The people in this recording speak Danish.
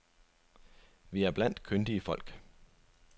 Vi er blandt kyndige folk.